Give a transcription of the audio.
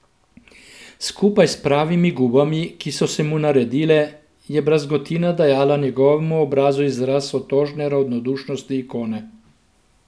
Skupaj s pravimi gubami, ki so se mu naredile, je brazgotina dajala njegovemu obrazu izraz otožne ravnodušnosti ikone.